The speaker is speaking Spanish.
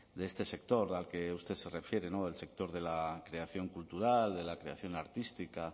de este sector al que usted se refiere el sector de la creación cultural de la creación artística